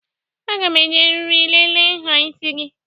Aga m eji eriri lelee nha isi gị